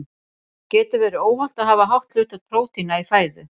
Getur verið óhollt að hafa hátt hlutfall prótína í fæðu?